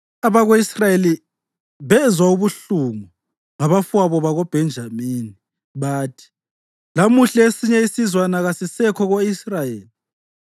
Abako-Israyeli bezwa ubuhlungu ngabafowabo bakoBhenjamini. Bathi, “Lamuhla esinye isizwana kasisekho ko-Israyeli.